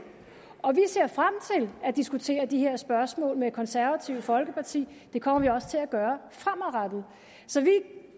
vi at diskutere de her spørgsmål med det konservative folkeparti det kommer vi også til at gøre fremadrettet vi